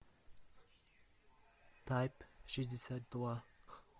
тайп шестьдесят два